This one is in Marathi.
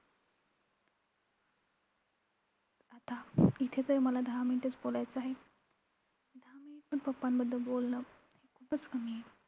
आता इथे तर मला दहा minute च बोलायचं आहे. दहां minute पण papa बद्दल बोलणं हे खूपच कमी आहे.